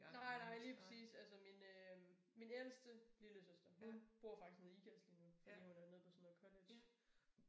Nej nej lige præcis altså min øh min ældste lillesøster hun bor faktisk nede i Ikast lige nu fordi hun er nede på sådan nogle college